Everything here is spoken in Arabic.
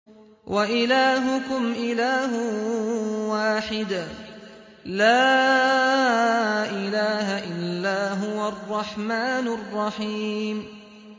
وَإِلَٰهُكُمْ إِلَٰهٌ وَاحِدٌ ۖ لَّا إِلَٰهَ إِلَّا هُوَ الرَّحْمَٰنُ الرَّحِيمُ